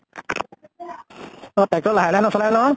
tractor লাহে লাহে নচলায় নহয়।